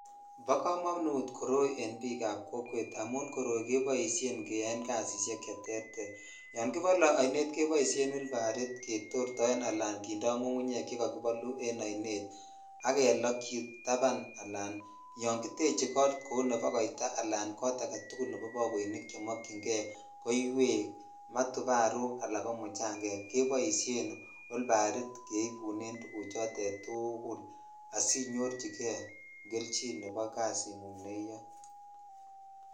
Bo komonut koroi en bik ab kokwet amun koroi koboishen keyon kasishek che terter yon kibole oinet koboishen olbarit ketortoen ala kindo ngungunyek chekokibolu en oinet ak kelokyi taban ala yon kiteche kot kou nebo koita ala kot agetukul nebo bakoinik chemikyin kei koiwek , matuparuk ala ko muchangang keboshen wilbarit kebunen tuguchoton tukul asinyorchikei kelechin nebo kasingung ne iyoe.